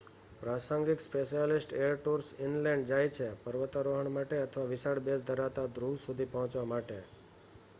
પ્રાસંગિક specialist air tours inland જાય છે પર્વતારોહણ માટે અથવા વિશાળ બેઝ ધરાવતા ધ્રુવ સુધી પહોંચવા માટે